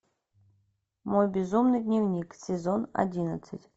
мой безумный дневник сезон одиннадцать